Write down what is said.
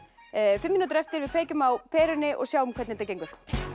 fimm mínútur eftir við kveikjum á perunni og sjáum hvernig þetta gengur